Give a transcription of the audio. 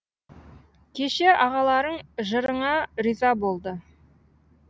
кеше ағаларың жырыңа риза болды